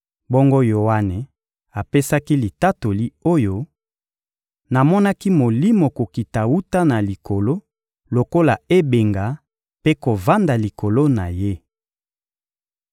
Bongo Yoane apesaki litatoli oyo: — Namonaki Molimo kokita wuta na likolo lokola ebenga mpe kovanda likolo na Ye.